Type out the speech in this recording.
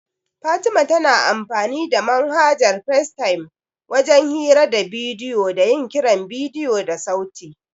Fatiman tana amfanin da manhajar Facetime wajen hira da bidiyo da yin kiran bidiyo da sauti.